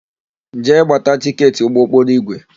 Jee gbata tịketị ụgbọokporoigwe!